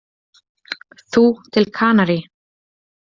Þú til Kanarí?